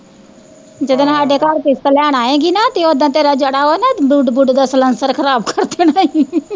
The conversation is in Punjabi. ਆਹ ਜਦੋਂ ਨੂੰ ਸਾਡੇ ਘਰ ਕਿਸ਼ਤ ਲੈਣ ਆਏਗੀ ਨਾ, ਤੇ ਓਦਣ ਤੇਰਾ ਜਿਹੜਾ ਵਾਂ ਨਾ ਵੂਡ ਵੂਡ ਦਾ ਸਲਨਸਰ ਖਰਾਬ ਕਰ ਦੇਣਾ ਈ